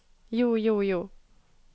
jo jo jo